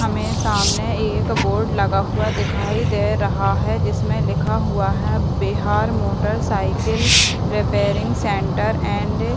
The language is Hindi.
हमे सामने एक बोर्ड लगा हुआ दिखाई दे रहा है जिसमे लिखा हुआ है Bihar motorcycle repairing centre and --